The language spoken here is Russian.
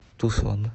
тусон